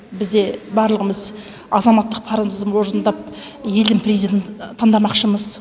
бізде барлығымыз азаматтық парызымызды орындап елдің президентін таңдамақшымыз